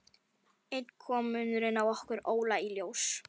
Enn kom munurinn á okkur Óla í ljós.